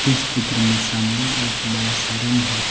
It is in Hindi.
इस चित्र में सामने एक बड़ा सा रूम है।